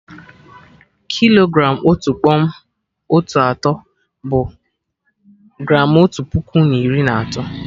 Kilogram Otu kpọm otu atọ, bụ gramụ otu puku na iri na atọ